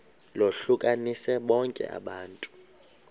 lohlukanise bonke abantu